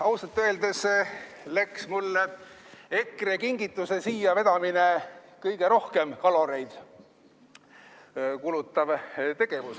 Ausalt öeldes oli mul EKRE kingituse siia vedamine kõige rohkem kaloreid kulutav tegevus.